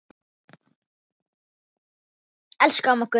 Elsku amma Gunna.